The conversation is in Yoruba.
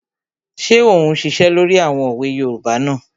Ṣé ò ún ṣiṣẹ́ lórí àwọn òwe yoòbá náà?